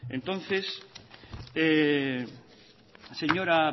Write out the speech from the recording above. entonces señora